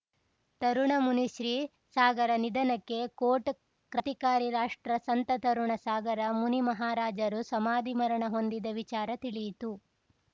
ತರುಣ ಮುನಿಶ್ರೀ ಸಾಗರ ನಿಧನಕ್ಕೆ ಕೋಟ್‌ ಕ್ರಾಂತಿಕಾರಿ ರಾಷ್ಟ್ರಸಂತ ತರುಣ ಸಾಗರ ಮುನಿ ಮಹಾರಾಜರು ಸಮಾಧಿ ಮರಣ ಹೊಂದಿದ ವಿಚಾರ ತಿಳಿಯಿತು